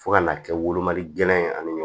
Fo ka na kɛ wolomali gɛlɛn ye ani ɲɔ